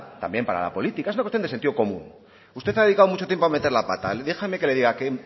también para la política es una cuestión de sentido común usted ha dedicado mucho tiempo a meter la pata déjeme que le diga que